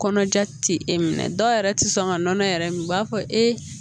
Kɔnɔja ti e minɛ dɔw yɛrɛ tɛ sɔn ka nɔnɔ yɛrɛ min u b'a fɔ e